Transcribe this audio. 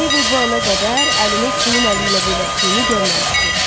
Meybel bu ana qədər əlini kimin əliylə birləşdiyini görməmişdi.